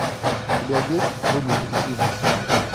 у тебя есть думай позитивно